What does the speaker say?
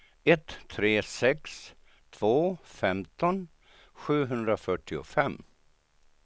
ett tre sex två femton sjuhundrafyrtiofem